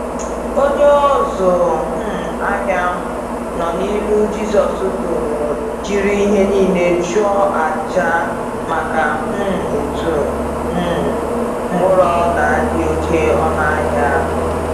Onye ọzụ um ahịa ahụ nọ na ilu Jizọs tụụrụ jiri ihe niile jụọ aja maka um otu um mkpụrụ ọla dị oké ọnụ ahịa.